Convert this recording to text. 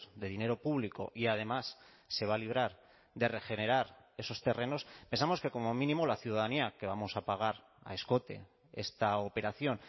de dinero público y además se va a librar de regenerar esos terrenos pensamos que como mínimo la ciudadanía que vamos a pagar a escote esta operación